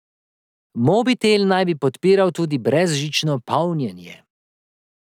Mobitel naj bi podpiral tudi brezžično polnjenje.